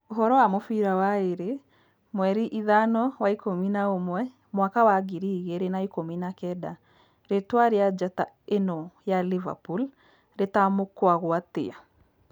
Ũhorō wa mũbira waĩrĩ mweri ithano wa-ikũmi na ũmwe Mwaka wa ngiri igĩrĩ na ikũmi na kenda; rĩtwa rĩa njata ĩno ya Liverpool rĩtamũkagwo atĩa?